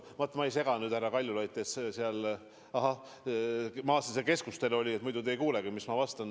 Ma nüüd segan teid, härra Kaljulaid, teil on seal keskustelu, aga muidu te ei kuulegi, mida ma vastan.